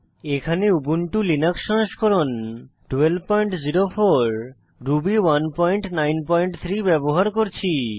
এখানে Ubuntu Linux সংস্করণ 1204 Ruby 193 ব্যবহার করছি